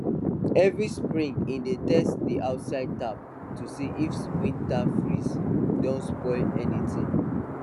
every spring he dey test d outside tap to see if winter freeze don spoil anything